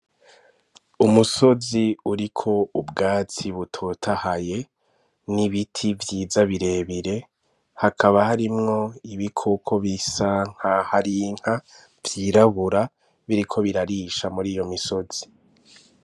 Umusozi uri ko ubwatsi butotahaye n'ibiti vyiza birebire hakaba harimwo ibi koko bisa nka harinka vyirabura biriko birarisha muri iyo misozi.